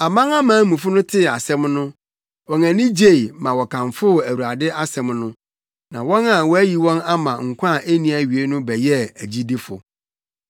Amanamanmufo no tee saa asɛm no, wɔn ani gye ma wɔkamfoo Awurade asɛm no, na wɔn a wɔayi wɔn ama nkwa a enni awiei no bɛyɛɛ agyidifo.